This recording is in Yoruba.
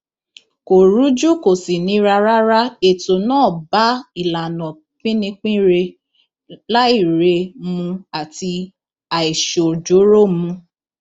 kò rújú kò sì nira rárá ètò náà bá ìlànà píninire làáire mu àti àìṣojooro mu